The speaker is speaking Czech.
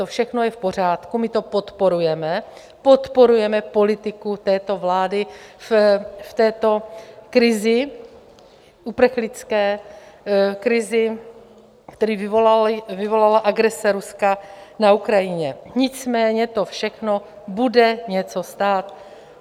To všechno je v pořádku, my to podporujeme, podporujeme politiku této vlády v této krizi, uprchlické krizi, kterou vyvolala agrese Ruska na Ukrajinu, nicméně to všechno bude něco stát.